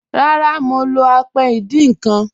Rárá, mọ̀ lọ́ àpẹ̀ ìdíń nkan.